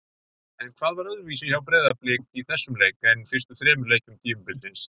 En hvað var öðruvísi hjá Breiðablik í þessum leik en fyrstu þremur leikjum tímabilsins?